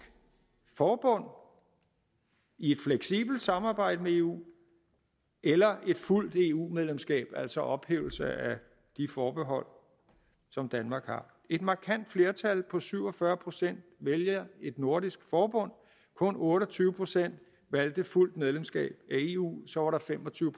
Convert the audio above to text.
forbund i et fleksibelt samarbejde med eu eller et fuldt eu medlemskab altså ophævelse af de forbehold som danmark har et markant flertal på syv og fyrre procent valgte et nordisk forbund kun otte og tyve procent valgte fuldt medlemskab af eu og så var der fem og tyve